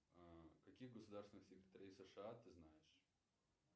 каких государственных секретарей сша ты знаешь